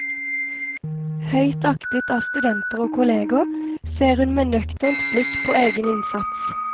Høyt aktet av studenter og kolleger, ser hun med nøkternt blikk på egen innsats.